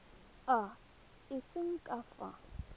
a a seng ka fa